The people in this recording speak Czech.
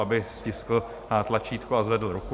Aby stiskl tlačítko a zvedl ruku.